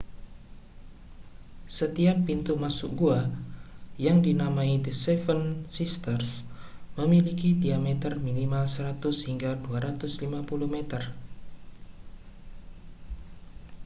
setiap pintu masuk gua yang dinamai the seven sisters memiliki diameter minimal 100 hingga 250 meter